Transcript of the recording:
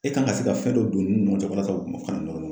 E kan ka se ka fɛn dɔ don ninnu ni ɲɔgɔn cɛ walasa kana nɔrɔ ɲɔgɔnna